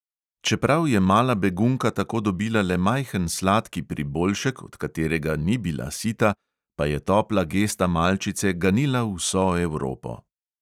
Čeprav je mala begunka tako dobila le majhen sladki priboljšek, od katerega ni bila sita, pa je topla gesta malčice ganila vso evropo.